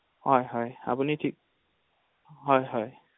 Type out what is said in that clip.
হয় হয় আপুনি ঠিক